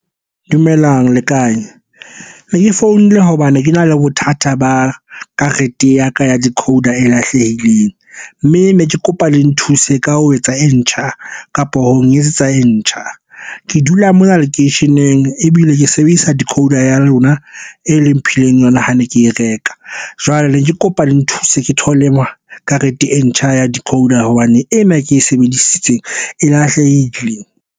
Dumelang, le kae? Ne ke founile hobane ke na le bothata ba karete ya ka ya decoder e lahlehileng. Mme ne ke kopa le nthuse ka ho etsa e ntjha, kapo ho nketsetsa e ntjha. Ke dula mona lekeisheneng ebile ke sebedisa decoder ya lona e leng mphileng yona ha ne ke e reka. Jwale ne ke kopa le nthuse ke thole karete e ntjha ya decoder hobane ena e ke e sebedisitseng e lahlehile.